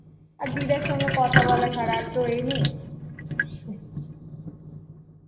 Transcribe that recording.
আর দিদার সাথে কথা বলা ছাড়া আর তো এই নেই